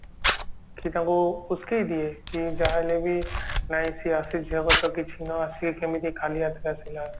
କି ତାଙ୍କୁ ଉଶକେଇ ଦିଏ କି ଯାହା ହେଲେ ବି ନାଇଁ ସିଏ ଆସିଛି ସିଏ କେମିତି ଖାଲି ହାତରେ ଆସିଲା